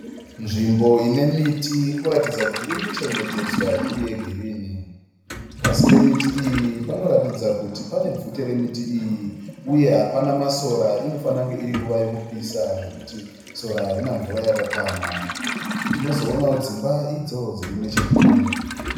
Nzvimbo inemiti ikuratidza kuti iri kuchengetedzwa iri yegirini . Pasi pemiti iyi panoratidza kuti pane bvute remiti iyi . Uye hapana masora inofara kunge iringuva yekupisa zvekuti sora harina mvura yakakwana. Tinozoonawo dzimba idzo dziri nechekure.